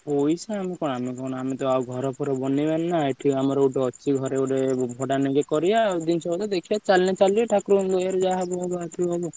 ପଇସା ଆମେ କଣ ଆମେ ତ ଆଉ ଘର ଫର ବନେଇବାନି ନାଁ ଏଠି ଆମର ଗୋଟେ ଅଛି ଘର ଯଦି ଭଡା ନେବେ କରିବା ଜିନିଷପତ୍ର ଚାଲିଲେ ଚାଲିବ ଠାକୁର ଙ୍କ ଦୟରୁ ଯାହା ହବ ହବ।